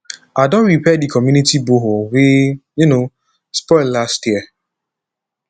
i don repair di community borehole wey um spoil last year